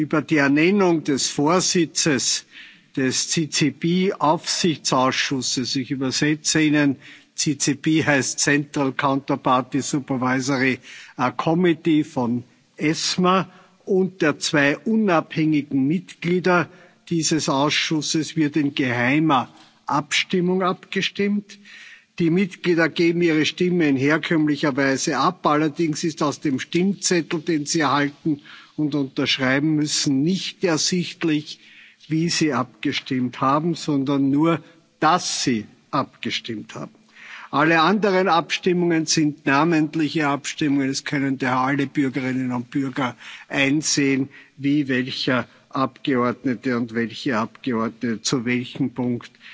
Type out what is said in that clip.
Über die Ernennung des Vorsitzes des CCP Aufsichtsausschusses, d. h. des Central Counterparty Supervisory Committee der ESMA, und der zwei unabhängigen Mitglieder dieses Ausschusses wird in geheimer Abstimmung abgestimmt. Die Mitglieder geben ihre Stimme in herkömmlicher Weise ab, allerdings ist aus dem Stimmzettel, den sie erhalten und unterschreiben müssen, nicht ersichtlich, wie sie abgestimmt haben, sondern nur, dass sie abgestimmt haben. Alle anderen Abstimmungen sind namentliche Abstimmungen. Es können daher alle Bürgerinnen und Bürger einsehen, wie welcher Abgeordnete und welche Abgeordnete zu welchem